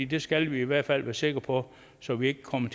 det skal vi i hvert fald være sikre på så vi ikke kommer